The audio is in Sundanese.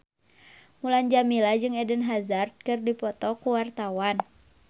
Mulan Jameela jeung Eden Hazard keur dipoto ku wartawan